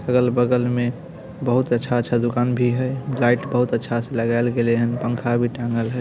अगल बगल में बहुत अच्छा-अच्छा दुकान भी है लाइट बहुत अच्छा से लगायल गैले है पंखा भी टांगल है।